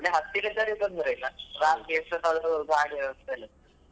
ಅಲ್ಲೇ ಹತ್ತಿರ ಇದ್ದವ್ರಿಗೆ ತೊಂದ್ರೆಲ್ಲ ರಾತ್ರಿ ಎಷ್ಟೋತ್ತಾದ್ರು ಗಾಡಿ ವ್ಯವಸ್ಥೆಯೆಲ್ಲ ಇರ್ತದೆ.